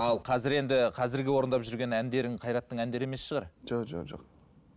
ал қазіргі енді қазіргі орындап жүрген әндерің қайраттың әндері емес шығар жоқ